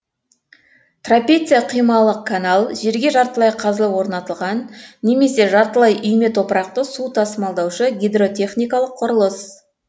трапеция қималы канал жерге жартылай қазылып орнатылған немесе жартылай үйме топырақты су тасымалдаушы гидротехникалық құрылыс